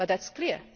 But that is clear.